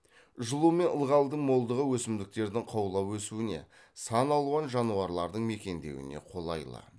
жылу мен ылғалдың молдығы өсімдіктердің қаулап өсуіне сан алуан жануарлардың мекендеуіне қолайлы